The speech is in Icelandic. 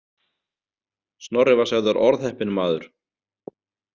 Snorri var sagður orðheppinn maður.